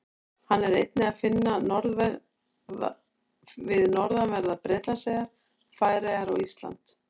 Hann er einnig að finna við norðanverðar Bretlandseyjar, Færeyjar og Ísland.